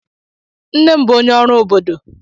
Nne m bụ onye ọrụ obodo.